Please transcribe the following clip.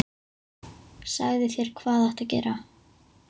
Sagði þér hvað ætti að gera.